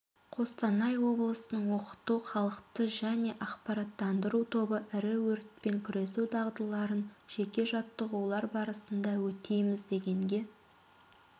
қостанай облысының оқыту халықты және ақпараттандыру тобы ірі өртпен күресу дағдыларын тек жаттығулар барысында өтейміз дегенге